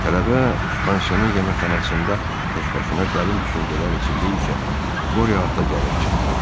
Tələbə pansionun yeməkxanasında təkbaşına dərin düşüncələr içindəykən Qori ata gəlib çıxdı.